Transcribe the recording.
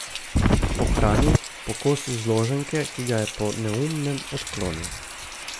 Po hrani, po kosu zloženke, ki ga je po neumnem odklonil.